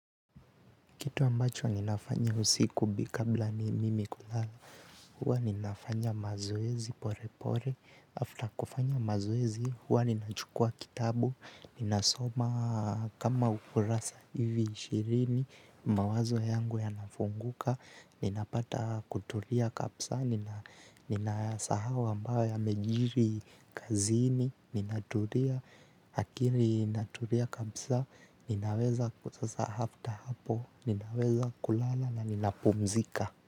Kitu ambacho ninafanya usiku bi kabla ni mimi kulala. Huwa ninafanya mazoezi pore pore. After kufanya mazoezi, huwa ninachukua kitabu. Nina soma kama ukurasa hivi ishirini. Mawazo yangu yanafunguka. Ninapata kutulia kapsa nina, ninayasahau ambayo yamejiri kazini. Ninatulia. Akili inatulia kabsa. Ninaweza kutasa after hapo. Ninaweza kulala na ninapumzika.